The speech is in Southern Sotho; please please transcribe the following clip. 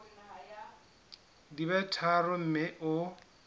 di be tharo mme o